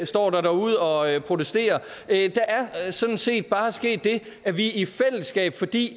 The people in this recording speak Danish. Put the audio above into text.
står der derude og protesterer der er sådan set bare sket det at vi i fællesskab fordi